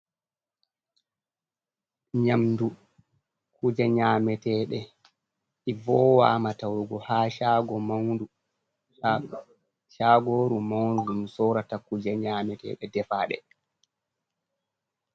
Nyamdu kuje nyametede ivowamatawugo ha chagoru maunu dum sorata kuje nyametede defade.